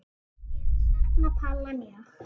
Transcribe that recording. Ég sakna Palla mjög.